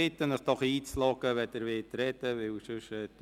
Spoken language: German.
Ich bitte Sie doch, sich einzuloggen, wenn Sie sprechen wollen.